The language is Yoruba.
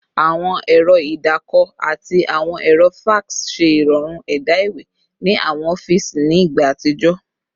Awọn ẹrọ idaako ati awọn ẹrọ fax ṣe irọrun ẹda iwe ni awọn ọfiisi ni igba atijọ